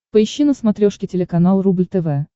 поищи на смотрешке телеканал рубль тв